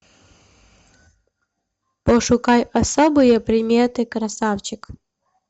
пошукай особые приметы красавчик